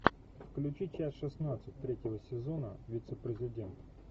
включи часть шестнадцать третьего сезона вице президент